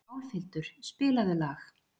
Álfhildur, spilaðu lag.